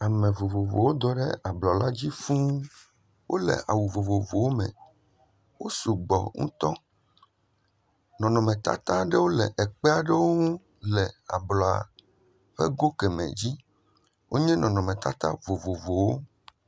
Ame vovovowo do ɖe ablɔla dzi fũuu. Wole awu vovovowo me. Wo sugbɔ ŋutɔ. Nɔnɔmetata aɖewo le ekpe aɖewo ŋu le ablɔa ƒe go kemɛ dzi. Wonye nɔnɔmetata vovovowo.